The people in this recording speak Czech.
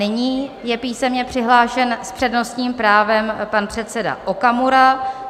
Nyní je písemně přihlášen s přednostním právem pan předseda Okamura.